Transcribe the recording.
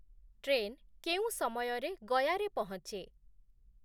Train କେଉଁ ସମୟରେ ଗୟାରେ ପହଞ୍ଚେ ?